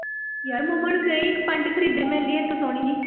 ਯਾਰ ਮੰਮਾ ਨੂੰ ਕਹੀਂ ਇੱਕ ਪੈਂਟ ਖਰੀਦੇ ਮੇਰੇ ਲਈ ਇੱਥੋਂ ਸੋਹਣੀ ਜਿਹੀ।